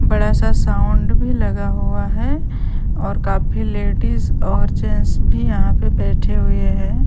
बड़ा सा साउंड भी लगा हुआ हैं और काफी लेडीज और जेंट्स भी यहाँ पे बैठे हुए हैं।